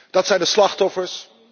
Dat zijn de slachtoffers.